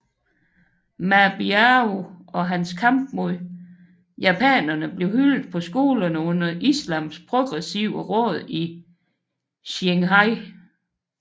Ma Biao og hans kamp mod japanerne blev hyldet på skolerne under Islams Progressive Råd i Qinghai